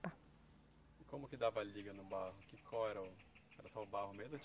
E como que dava liga no barro? Que co era o, era só o barro mesmo